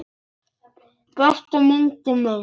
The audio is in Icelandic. Besta myndin.